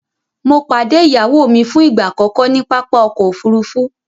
Mọ̀ padẹ̀ iyáwó mi fún ìgba akọkọ ni pápá ọkọ̀ òfurufú